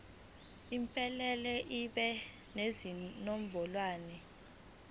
iphelele ibe nezinombolwana